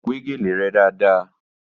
Wẹ́ gèlè rẹ dáadáa!